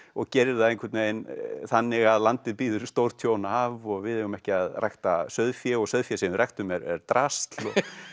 og gerir það einvern veginn þannig að landið býður stórtjón af og við eigum ekki að rækta sauðfé og sauðféð sem við ræktum er drasl